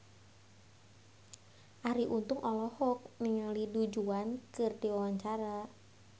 Arie Untung olohok ningali Du Juan keur diwawancara